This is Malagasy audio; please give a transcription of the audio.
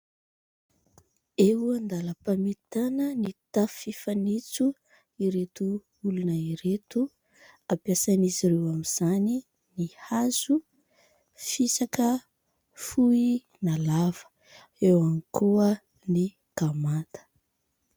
Eo andalam-pamitana ny tafo fanitso ireto olona ireto. Ampiasain'izy ireo amin'izany ny hazo fisaka fohy na lava. Eo ihany koa ny gamata.